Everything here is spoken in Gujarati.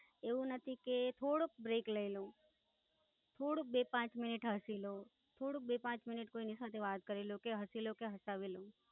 એવું નથી કે થોડોક લઇ લાઉ, થોડુંક બે પાંચ મિનિટ હસી લવ, થોડુંક બે પાંચ મિનિટ કોઈ સાથે વાત કરી લવ, કે હસી લવ કે હસાવી લવ.